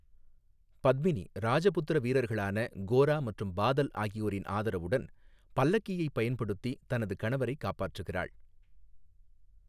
பத்மினி, ராஜபுத்திர வீரர்களான கோரா மற்றும் பாதல் ஆகியோரின் ஆதரவுடன், பல்லக்கியைப் பயன்படுத்தி தனது கணவரை காப்பாற்றுகிறாள்.